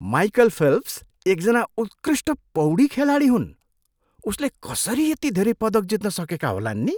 Michael Phelps एकजना उत्कृष्ट पौडी खेलाडी हुन्। उसले कसरी यति धेरै पदक जित्न सकेका होलान् नि!